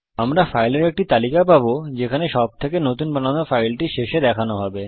আমরা ফাইলের একটি তালিকা পাবো যেখানে সবথেকে নতুন বানানো ফাইলটি শেষে দেখানো হবে